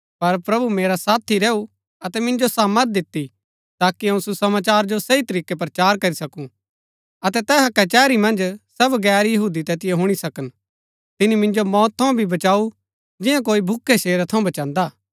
पर प्रभु मेरा साथी रैऊ अतै मिन्जो सामर्थ दिती ताकि अऊँ सुसमाचार जो सही तरीकै प्रचार करी सकूँ अतै तैहा कचैहरी मन्ज सब गैर यहूदी तैतिओ हुणी सकन तिनी मिन्जो मौत थऊँ भी बचाऊ जिन्या कोई भूखै शेरा थऊँ बचान्‍दा हा